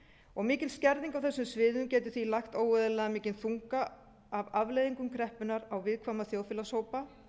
og mikil skerðing á þessum sviðum getur því lagt óeðlilega mikinn þunga af afleiðingum kreppunnar á viðkvæma þjóðfélagshópa